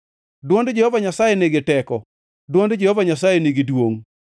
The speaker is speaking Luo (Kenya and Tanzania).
Dwond Jehova Nyasaye nigi teko, dwond Jehova Nyasaye nigi duongʼ.